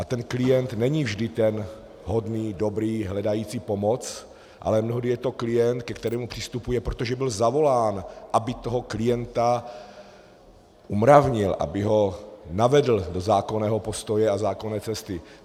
A ten klient není vždy ten hodný, dobrý, hledající pomoc, ale mnohdy je to klient, ke kterému přistupuje, protože byl zavolán, aby toho klienta umravnil, aby ho navedl do zákonného postoje a zákonné cesty.